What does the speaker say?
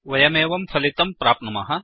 वयमेवं फलितं प्राप्नुमः